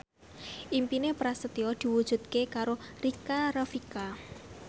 impine Prasetyo diwujudke karo Rika Rafika